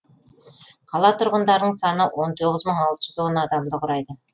қала тұрғындарының саны он тоғыз мың алты жүзон адамды құрайды